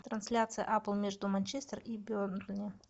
трансляция апл между манчестер и бернли